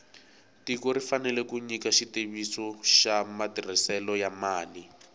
tiko ri fanele ku nyika xitiviso xa matirhiselo ya mali